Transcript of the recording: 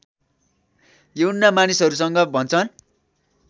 यूहन्ना मानिसहरूसँग भन्छन्